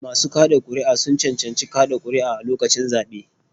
Masu kaɗa ƙuri'a sun cancanci kaɗa ƙuri'a a lokacin zaɓe.